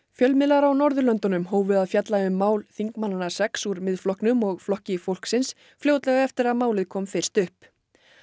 fjölmiðlar á Norðurlöndunum hófu að fjalla um mál þingmannanna sex úr Miðflokknum og Flokki fólksins fljótlega eftir að málið kom fyrst upp